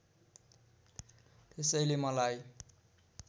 त्यसैले मलाई